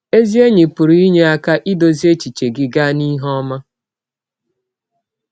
Ezi enyi pụrụ inye aka idụzị echiche gị gaa n’ihe ọma.